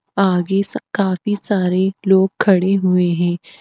आगे स काफी सारे लोग खड़े हुए हैं।